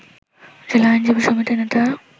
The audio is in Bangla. জেলা আইনজীবী সমিতির নেতারা